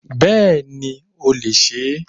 Bẹ́ẹ̀ni o lè se é